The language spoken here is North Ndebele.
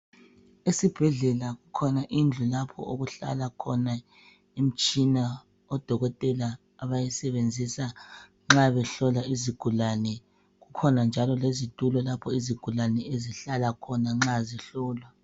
Esibhedlela kukhona indlu lapho okuhlala khona imitshina odokotela abayisebenzisa nxa behlola izigulane kukhona njalo lezitulo lapho izigulane ezihlala khona nxa zihlolwa.